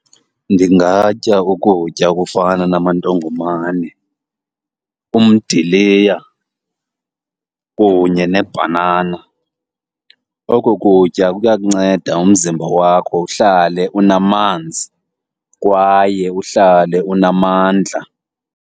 Ndingatya ukutya okufana namandongomane, umdiliya kunye nebhanana. Oko kutya kuya kunceda umzimba wakho uhlale unamanzi kwaye uhlale unamandla.